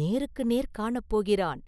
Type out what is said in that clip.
நேருக்கு நேர் காணப்போகிறான்.